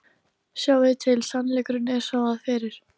Sjáiði til, sannleikurinn er sá, að fyrir